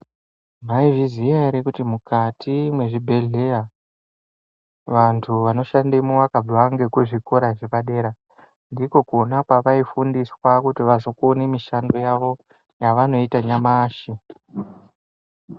Maizviziya ere kuti mukati mwe zvibhedhleya vantu vano shandemwo vakabva ngeku zvikora zvepa dera ndiko kona kwavai fundiswa kuti vazokone mishando yavo yavanoita nyamashi.